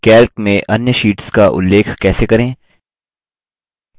calc में अन्य sheets का उ ल्लेख कैसे करें